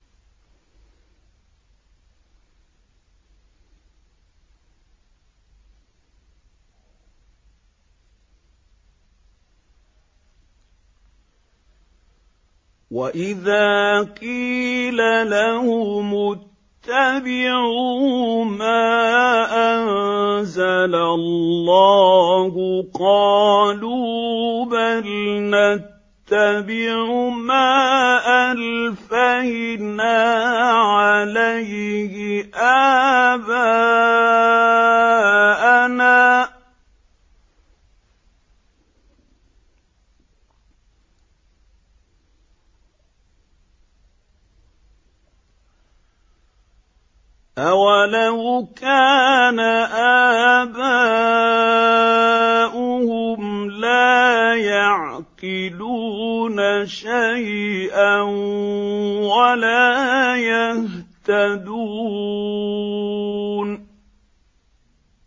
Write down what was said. وَإِذَا قِيلَ لَهُمُ اتَّبِعُوا مَا أَنزَلَ اللَّهُ قَالُوا بَلْ نَتَّبِعُ مَا أَلْفَيْنَا عَلَيْهِ آبَاءَنَا ۗ أَوَلَوْ كَانَ آبَاؤُهُمْ لَا يَعْقِلُونَ شَيْئًا وَلَا يَهْتَدُونَ